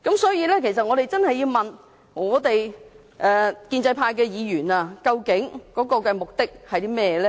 所以，我們真的要問建制派議員究竟目的何在？